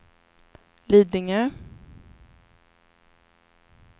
Lidingö